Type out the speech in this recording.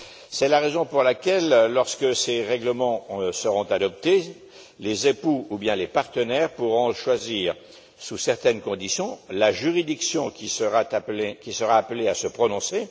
C'est la raison pour laquelle, lorsque ces règlements seront adoptés, les époux ou bien les partenaires pourront choisir, sous certaines conditions, la juridiction qui sera appelée à se prononcer.